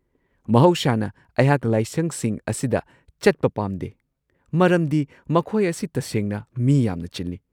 ꯃꯍꯧꯁꯥꯅ ꯑꯩꯍꯥꯛ ꯂꯥꯏꯁꯪꯁꯤꯡ ꯑꯁꯤꯗ ꯆꯠꯄ ꯄꯥꯝꯗꯦ ꯃꯔꯝꯗꯤ ꯃꯈꯣꯏ ꯑꯁꯤ ꯇꯁꯦꯡꯅ ꯃꯤ ꯌꯥꯝꯅ ꯆꯤꯜꯂꯤ꯫